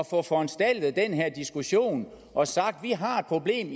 få foranstaltet den diskussion og sagt vi har et problem